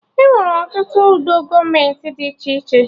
Enwere ọtụtụ udo gọọmenti dị iche iche